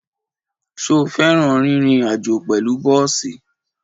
Ṣo fẹ́ràn rírin àjó pẹ̀lú bọ́ọ̀sì?